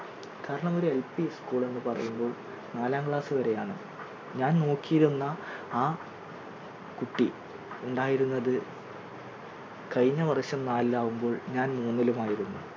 കാരണം ഒരു LP school എന്ന് പറയുമ്പോൾ നാലാം class വരെയാണ് ഞാൻ നോക്കിയിരുന്ന ആ കുട്ടി ഉണ്ടായിരുന്നത് കഴിഞ്ഞവർഷം നാലിൽ ആകുമ്പോൾ ഞാൻ മൂന്നിലും ആയിരുന്നു